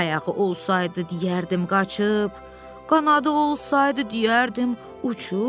Ayağı olsaydı deyərdim qaçıb, qanadı olsaydı deyərdim uçub.